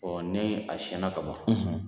ni a siɲɛna ka ban,